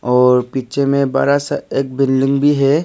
और पीछे में बड़ा सा एक बिल्डिंग भी है।